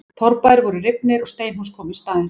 Torfbæir voru rifnir og steinhús komu í staðinn.